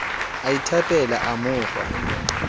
a ithapela a mo fa